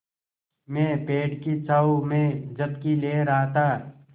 मैं पेड़ की छाँव में झपकी ले रहा था